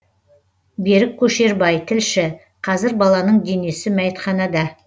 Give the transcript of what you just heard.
берік көшербай тілші қазір баланың денесі мәйітханада